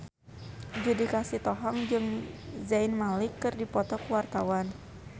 Judika Sitohang jeung Zayn Malik keur dipoto ku wartawan